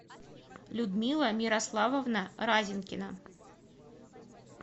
людмила мирославовна разинкина